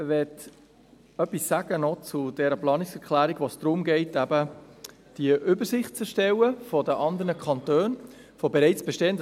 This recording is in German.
Ich möchte etwas zur Planungserklärung sagen, bei welcher es eben darum geht, eine Übersicht über bereits in anderen Kantonen bestehende Dinge zu erstellen.